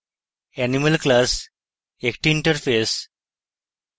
animal class একটি interface